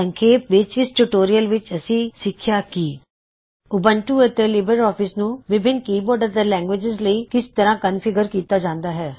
ਸੰਖੇਪ ਵਿੱਚ ਇਸ ਟਯੂਟੋਰਿਅਲ ਵਿੱਚ ਅਸੀਂ ਸਿਖਿਆ ਕੀ ਉਬੰਟੂ ਅਤੇ ਲਿਬਰ ਆਫਿਸ ਨੂੰ ਵਿਭਿੱਨ ਕੀਬੋਰਡ ਅਤੇ ਲੈਂਗਗ੍ਵਿਜਿਜ਼ ਲਈ ਕਿਸ ਤਰਹ ਕਨ੍ਫਿਗ੍ਰਰ ਕਿੱਤਾ ਜਾਂਦਾ ਹੈ